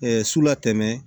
su la tɛmɛ